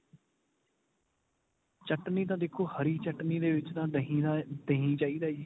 ਚਟਣੀ ਤਾਂ ਦੇਖੋ ਹਰੀ ਚਟਣੀ ਦੇ ਵਿੱਚ ਤਾਂ ਦਹੀਂ ਦਹੀਂ ਚਾਹੀਦਾ ਜੀ.